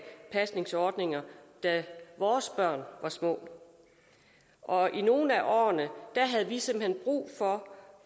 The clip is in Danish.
pasningsordninger da vores børn var små og i nogle af årene havde vi simpelt hen brug for